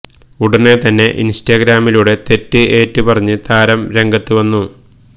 ഉടന് തന്നെ ഇന്സ്റ്റാഗ്രാമിലൂടെ തെറ്റ് ഏറ്റ് പറഞ്ഞ് താരം രംഗത്ത് വന്നു